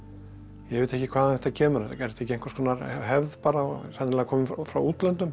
ég veit ekki hvaðan þetta kemur er þetta ekki einhvers konar hefð bara sennilega komin frá útlöndum